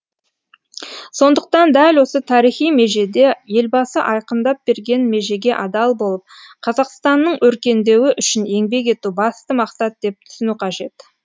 сондықтан дәл осы тарихи межеде елбасы айқындап берген межеге адал болып қазақстанның өркендеуі үшін еңбек ету басты мақсат деп түсіну қажет